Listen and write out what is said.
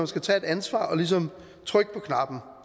skal tage et ansvar og ligesom trykke på knappen